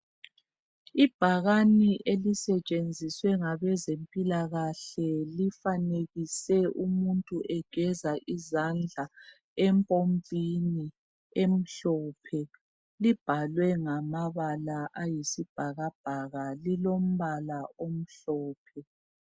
Ibhakani elisetshenziswe ngabezempilakahle lifanekise umuntu egeza izandla empompini emhlophe libhalwe ngamabala ayisibhakabhaka lilombala omhlophe